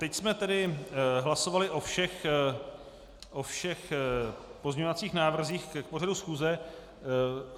Teď jsme tedy hlasovali o všech pozměňovacích návrzích k pořadu schůze.